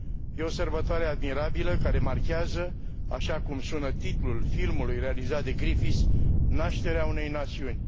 E o sărbătoare admirabilă, care marchează, așa cum sună titlul filmului realizat de Griffith, Nașterea unei națiuni.